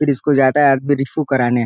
फिर इसको जाता है आदमी रिफु कराने।